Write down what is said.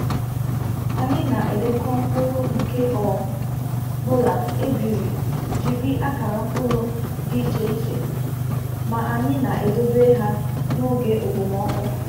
Anyị na-edekọ mkpụrụ nke ọ bụla e biri jiri akara mkpụrụ dị iche iche, ma anyị na-edobe ha n’oge okpomọkụ.